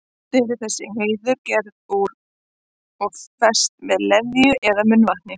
Oft eru þessi hreiður gerð úr og fest með leðju eða munnvatni.